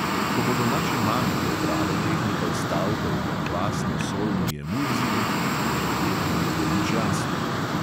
Ko bodo naše mame prebrale teh nekaj stavkov o kvasno solni emulziji, jim verjetno ne bo nič jasno.